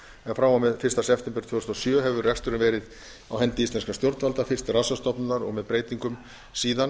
frá og með fyrsta september tvö þúsund og sjö hefur reksturinn verið á hendi íslenskra stjórnvalda fyrst rannsóknastofnunar og með breytingum síðan